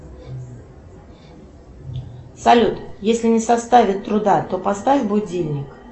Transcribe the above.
салют если не составит труда то поставь будильник